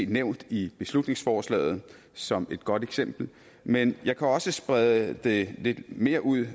nævnt i beslutningsforslaget som et godt eksempel men jeg kan også sprede det lidt mere ud